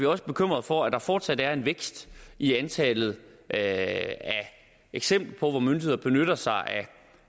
også bekymret for at der fortsat er en vækst i antallet af eksempler hvor myndigheder benytter sig